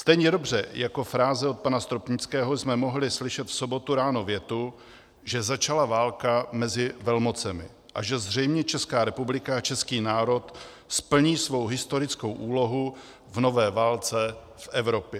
Stejně dobře jako fráze od pana Stropnického jsme mohli slyšet v sobotu ráno větu, že začala válka mezi velmocemi a že zřejmě Česká republika a český národ splní svou historickou úlohu v nové válce v Evropě.